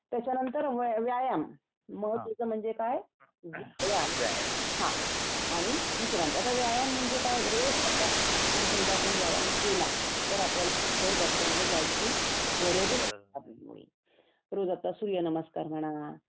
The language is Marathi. त्याच्या नंतर व्यायाम मग ते म्हणजे काय व्यायाम आणि विश्रांती आता व्यायाम म्हणजे काय रोज सकाळी आपण जर व्यायाम केला तर आपल्याला डॉक्टरकडे जायची गरजच नाही मुळी रोज आता सूर्यनमस्कार म्हणा